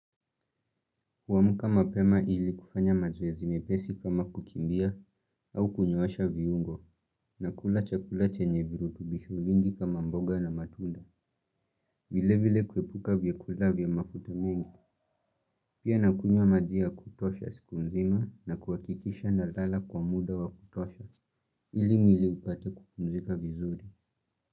Kuamuka mapema ili kufanya mazoezi mepesi kama kukimbia au kunyoosha viungo na kula chakula chenye virutubishu nyingi kama mboga na matunda. Vile vile kuepuka vyakula vya mafuta mengi. Pia nakunywa maji ya kutosha siku nzima na kuhakikisha nalala kwa muda wa kutosha ili mwili upate kupumzika vizuri.